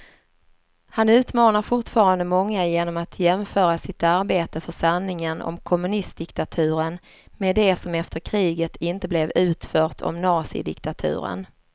Han utmanar fortfarande många genom att jämföra sitt arbete för sanningen om kommunistdiktaturen med det som efter kriget inte blev utfört om nazidiktaturen.